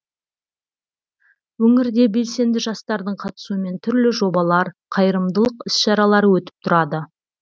өңірде белсенді жастардың қатысуымен түрлі жобалар қайырымдылық іс шаралары өтіп тұрады